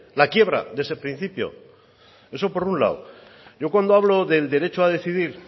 la quiebra de ese principio eso por un lado yo cuando hablo del derecho a decidir